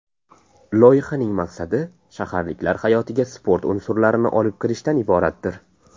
Loyihaning maqsadi shaharliklar hayotiga sport unsurlarini olib kirishdan iboratdir.